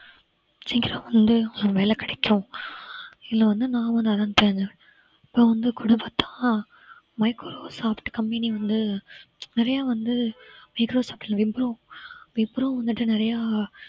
சீக்கிரம் வந்து ஒரு வேலை கிடைக்கும் இல்லை வந்து நான் அப்புறம் வந்து microsoft company வந்து நிறைய வந்து microsoft இல்ல விப்ரோ விப்ரோ வந்துட்டு நிறையா